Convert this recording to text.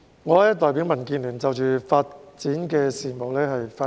主席，我代表民建聯就發展事務發言。